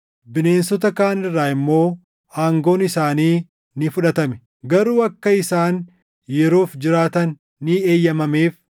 Bineensota kaan irraa immoo aangoon isaanii ni fudhatame; garuu akka isaan yeroof jiraatan ni eeyyamameef.